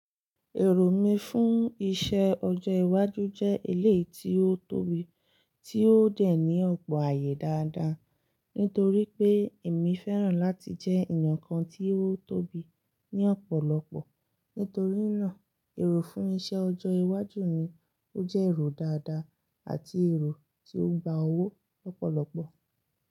Èrò mi fún iṣẹ́ ọjọ́ iwájú jẹ́ eleyi tí ó tóbi tí ó dẹ̀ ní ọ̀pọ̀ ààyè dáadáa, nítorí pé èmi fẹ́ràn láti jẹ́ èèyàn kan tí ó tóbi ní ọ̀pọ̀lọpọ̀. Nítorí náà, èrò fún iṣẹ́ ọjọ́ iwájú ni ó jẹ́ èrò dáadáa àti èrò tí ó gba owó lọ́pọ̀lọpọ̀.